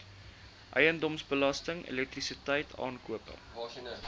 eiendomsbelasting elektrisiteit aankope